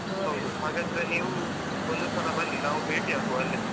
ಹಾಗಾದ್ರೆ ನೀವು ಒಂದು ಸಲ ಬನ್ನಿ ನಾವು ಭೇಟಿಯಾಗುವ ಅಲ್ಲೇ.